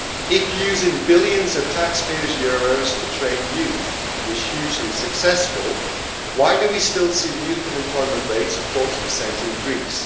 If using billions of taxpayers' euros to train youth was hugely successful, why do we still see youth unemployment rates of 40 in Greece?